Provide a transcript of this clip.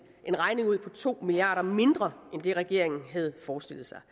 en regning ud på to milliard kroner mindre end det regeringen havde forestillet sig